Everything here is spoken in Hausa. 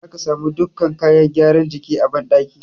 Za ka samu dukkan kayan gyara jiki a banɗaki.